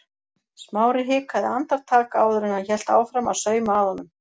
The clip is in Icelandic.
Smári hikaði andartak áður en hann hélt áfram að sauma að honum.